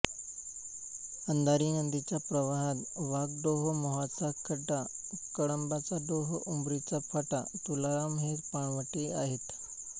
अंधारी नदीच्या प्रवाहात वाघडोह मोहाचा खड्डा कळंबाचा डोह उमरीचा पाटा तुलाराम हे पाणवठे आहेत